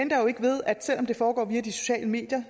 selv om det foregår via de sociale medier